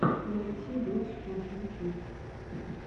найти дотспот ютюб